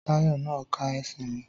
Táyọ̀ nà ka sími